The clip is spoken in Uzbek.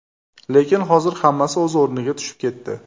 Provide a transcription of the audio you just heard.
Lekin hozir hammasi o‘z o‘rniga tushib ketdi.